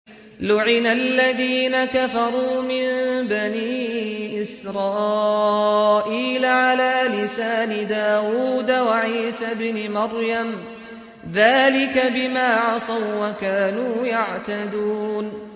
لُعِنَ الَّذِينَ كَفَرُوا مِن بَنِي إِسْرَائِيلَ عَلَىٰ لِسَانِ دَاوُودَ وَعِيسَى ابْنِ مَرْيَمَ ۚ ذَٰلِكَ بِمَا عَصَوا وَّكَانُوا يَعْتَدُونَ